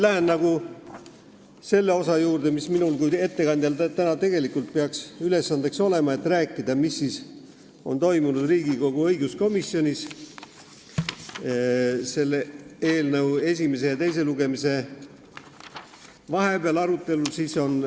Lähen nüüd selle osa juurde, mis on täna minu kui ettekandja ülesanne – rääkida, mis on toimunud Riigikogu õiguskomisjonis selle eelnõu esimese ja teise lugemise vahepeal.